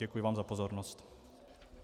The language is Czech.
Děkuji vám za pozornost.